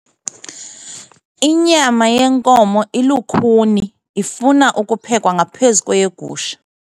Inyama yenkomo ilukhuni ifuna ukuphekwa ngaphezu kweyegusha.